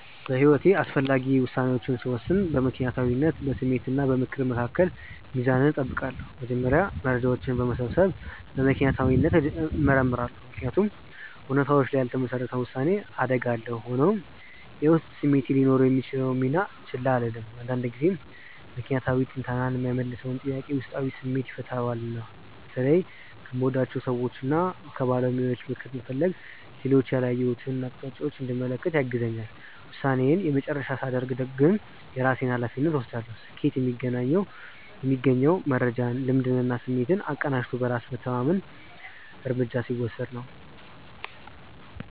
በሕይወቴ አስፈላጊ ውሳኔዎችን ስወስን በምክንያታዊነት፣ በስሜት እና በምክር መካከል ሚዛን እጠብቃለሁ። መጀመሪያ መረጃዎችን በመሰብሰብ በምክንያታዊነት እመረምራለሁ፤ ምክንያቱም እውነታዎች ላይ ያልተመሰረተ ውሳኔ አደጋ አለው። ሆኖም፣ የውስጥ ስሜቴ ሊኖረው የሚችለውን ሚና ችላ አልልም፤ አንዳንድ ጊዜ ምክንያታዊ ትንተና የማይመልሰውን ጥያቄ ውስጣዊ ስሜቴ ይፈታዋልና። በተለይም ከምወዳቸው ሰዎችና ከባለሙያዎች ምክር መፈለግ ሌሎች ያላየሁትን አቅጣጫ እንድመለከት ያግዘኛል። ውሳኔዬን የመጨረሻ ሳደርግ ግን የራሴን ሃላፊነት እወስዳለሁ። ስኬት የሚገኘው መረጃን፣ ልምድንና ስሜትን አቀናጅቶ በራስ መተማመን እርምጃ ሲወስድ ነው።